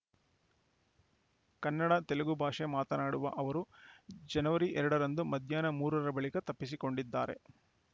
ಕನ್ನಡ ತೆಲುಗು ಭಾಷೆ ಮಾತನಾಡುವ ಅವರು ಜನವರಿ ಎರಡರಂದು ಮಧ್ಯಾಹ್ನ ಮೂರರ ಬಳಿಕ ತಪ್ಪಿಸಿಕೊಂಡಿದ್ದಾರೆ